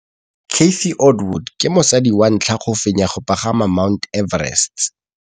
Cathy Odowd ke mosadi wa ntlha wa go fenya go pagama ga Mt Everest.